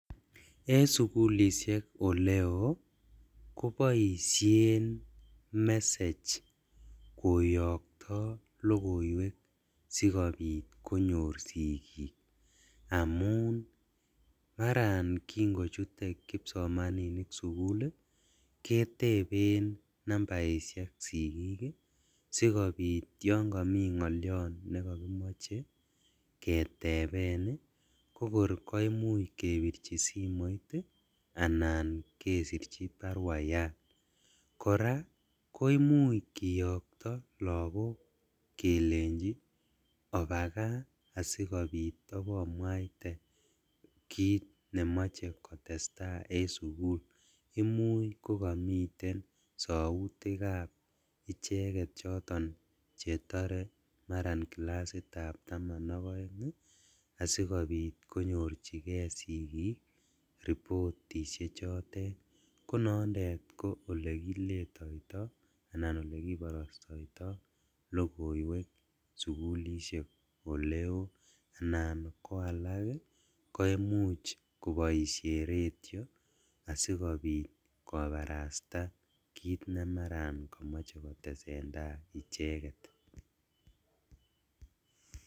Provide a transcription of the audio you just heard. En sukulishek oleo koboishen message koyokto logoiwek sikobit konyor sigik, amun maran kingochute kipsomaninik sukul ii keteben nambaishek sigik ii sikobit yon komi ngolyon nekokimoche keteben ii kokor koimuch kebirji simoit ii anan kesirji baruayan, koraa koimuch kiyokto lagok kelenjin obakaa asikobit obomwaite kit nemoche kotestaa en sukul, imuch kokomiten soutikab icheket choton chetore maran kilasitab taman ok oeng ii asikobit konyorjigee sikik reportishechotet konondet ko olekiletoito anan okekiborostoito logoiwek sukulishek oleo, anan koalak koimuch koboishen radio asikobit kobarasta kit nemaran komoche kotesendaa icheket.